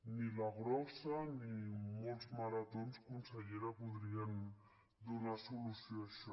ni la grossa ni moltes maratons consellera podrien donar solució a això